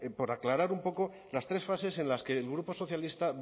por aclarar un poco las tres fases en las que el grupo socialista